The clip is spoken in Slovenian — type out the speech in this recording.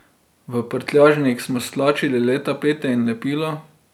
V prtljažnik smo stlačili le tapete in lepilo.